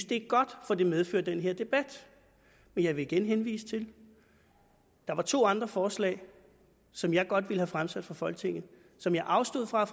det godt for det medfører den her debat men jeg vil igen henvise til at der var to andre forslag som jeg godt ville have fremsat for folketinget og som jeg afstod fra at